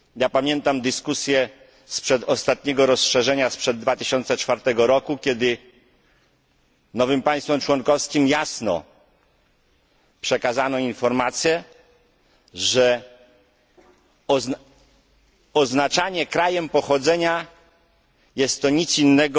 Pamiętam dyskusję sprzed ostatniego rozszerzenia, sprzed 2004 roku, kiedy nowym państwom członkowskim jasno przekazano informację, że oznaczanie krajem pochodzenia nie jest niczym innym